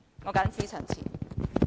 我謹此陳辭。